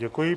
Děkuji.